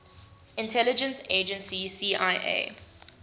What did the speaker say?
intelligence agency cia